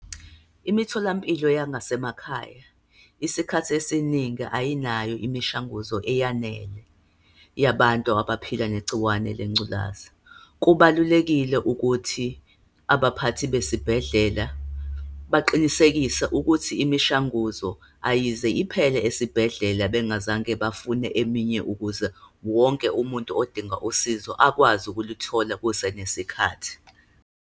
Imitholampilo yangasemakhaya, isikhathi esiningi ayinayo imishanguzo eyanele yabantu abaphila negciwane lengculazi. Kubalulekile ukuthi abaphathi besibhedlela baqinisekise ukuthi imishanguzo ayize iphele esibhedlela bengazange bafune eminye, ukuze wonke umuntu odinga usizo akwazi ukulithola kusenesikhathi.